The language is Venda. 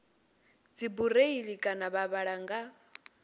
dzibureiḽi kana vha vhala nga